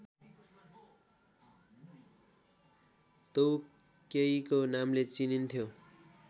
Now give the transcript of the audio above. तोउकेइको नामले चिनिन्थ्यो